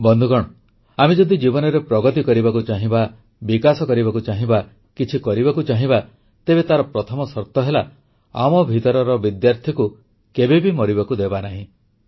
ବନ୍ଧୁଗଣ ଆମେ ଯଦି ଜୀବନରେ ପ୍ରଗତି କରିବାକୁ ଚାହିଁବା ବିକାଶ କରିବାକୁ ଚାହିଁବା କିଛି କରିବାକୁ ଚାହିଁବା ତେବେ ତାର ପ୍ରଥମ ସର୍ତ ହେଲା ଆମ ଭିତରର ବିଦ୍ୟାର୍ଥୀକୁ କେବେ ବି ମରିବାକୁ ଦେବାନାହିଁ